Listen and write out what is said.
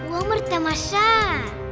өмір тамаша